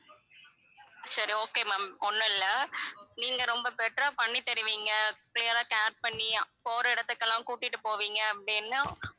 சரி okay ma'am ஒண்ணும் இல்ல நீங்க ரொம்ப better ஆ பண்ணி தருவீங்க clear ஆ care பண்ணி போற இடத்துக்கெல்லாம் கூட்டிட்டு போவீங்க அப்படின்னு